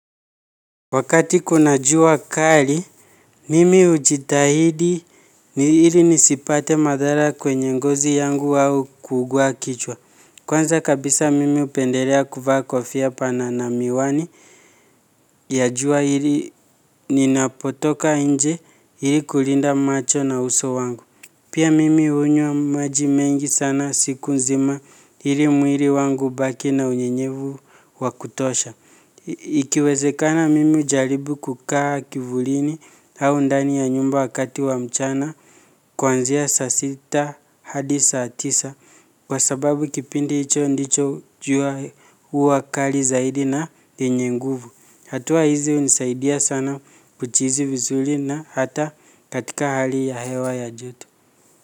Wakati kuna jua kali, mimi hujitahidi ili nisipate madhara kwenye ngozi yangu au kuungua kichwa. Kwanza kabisa mimi upendelea kuvaa kofia pana na miwani ya jua ili ninapotoka nje ili kulinda macho na uso wangu. Pia mimi hunywa maji mengi sana siku nzima ili mwili wangu ubaki na unyenyevu wakutosha. Ikiwezekana mimi hujaribu kukaa kivulini au ndani ya nyumba wakati wa mchana. Kwanzia sa sita hadi saa tisa kwa sababu kipindi hicho ndicho jua huwa kali zaidi na yenye nguvu. Hatua hizi unisaidia sana kuchizi vizurii na hata katika hali ya hewa ya joto.